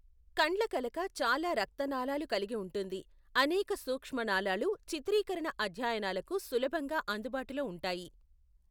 కండ్లకలక చాలా రక్తనాళాలు కలిగి ఉంటుంది, అనేక సూక్ష్మ నాళాలు చిత్రీకరణ అధ్యయనాలకు సులభంగా అందుబాటులో ఉంటాయి.